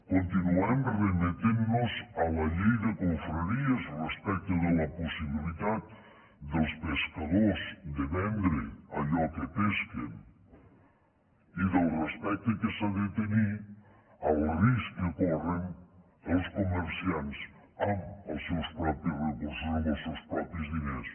continuem remetent nos a la llei de confraries respecte de la possibilitat dels pescadors de vendre allò que pesquen i del respecte que s’ha de tenir al risc que corren els comerciants amb els seus propis recursos amb els seus propis diners